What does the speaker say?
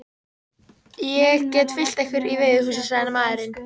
Ég get fylgt ykkur í veiðihúsið, sagði maðurinn.